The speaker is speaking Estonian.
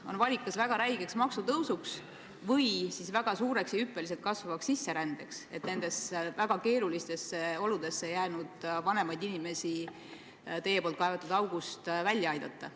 On valida kas väga räige maksutõus või siis väga suur ja hüppeliselt kasvav sisseränne, et keerulistesse oludesse jäänud vanemaid inimesi teie kaevatud august välja aidata.